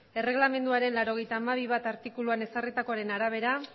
erreglamenduaren laurogeita hamabi puntu bat artikuluan ezarritakoaren arabera